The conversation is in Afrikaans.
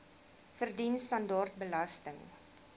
verdien standaard belasting